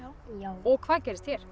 og hvað gerðist hér